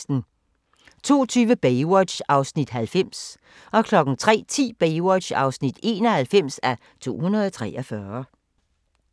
02:20: Baywatch (90:243) 03:10: Baywatch (91:243)